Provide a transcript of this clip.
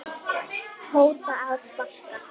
hóta að sparka